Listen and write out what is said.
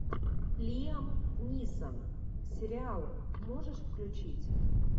лиам ниссон сериал можешь включить